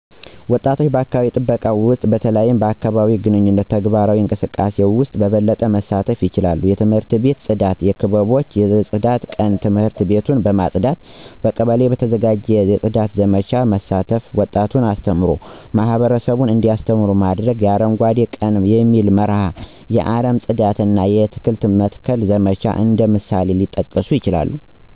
ወጣቶች በአካባቢ ጥበቃ ውስጥ በተለይም በአካባቢአዊ ግንኙነትና ተግባራዊ እንቅስቃሴዎች ውስጥ በበለጠ መሳተፍ ይችላሉ። የትምህርት ቤት የጽዳት ክበቦች የጽዳት ቀን ትምህርት ቤቱን በማጽዳት፣ በቀበሌ በተዘጋጀ የጽዳት ዘመቻዎች በመሳተፍ፣ ወጣቱን አስተምሮ ማህበረሰቡን እንዲያስተምሩ በማድረግ፣ የ አረንጓዴ ቀን በሚል መርህ የአረም ማጽዳት እና አትክልት የመትከል ዘመቻ እንደ ምሳሌዎች ሊጠቀሱ ይችላሉ።